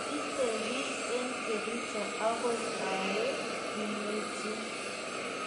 itebie eng' kericho agoi awe? kimechin